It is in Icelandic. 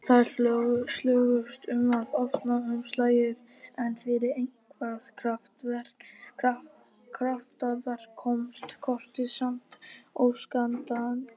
Þær slógust um að opna umslagið, en fyrir eitthvert kraftaverk komst kortið samt óskaddað út.